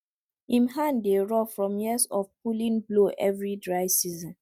him hand dey rough from years of pulling plow every dry season